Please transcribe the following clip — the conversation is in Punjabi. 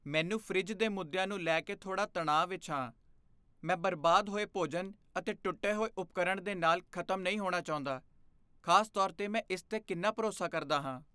ਮੈਨੂੰ ਫਰਿੱਜ ਦੇ ਮੁੱਦਿਆਂ ਨੂੰ ਲੈ ਕੇ ਥੋੜ੍ਹਾ ਤਣਾਅ ਵਿਚ ਹਾਂ, ਮੈਂ ਬਰਬਾਦ ਹੋਏ ਭੋਜਨ ਅਤੇ ਟੁੱਟੇ ਹੋਏ ਉਪਕਰਣ ਦੇ ਨਾਲ ਖ਼ਤਮ ਨਹੀਂ ਹੋਣਾ ਚਾਹੁੰਦਾ, ਖ਼ਾਸ ਤੌਰ 'ਤੇ ਮੈਂ ਇਸ 'ਤੇ ਕਿੰਨਾ ਭਰੋਸਾ ਕਰਦਾ ਹਾਂ।